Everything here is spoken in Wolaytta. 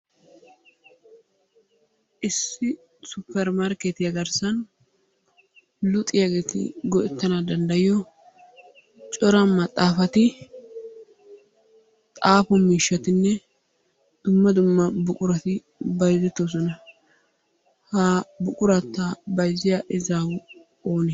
Issi suppermarkkeetiya garssan luxiyageeti go'ettanawu danddayiyo cora maxxaafati, xaafo miishshatinne dumma dumma buqurati bayzettoosona. Ha buqurata bayzziya izaawu oonee?